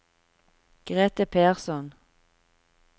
Grethe Persson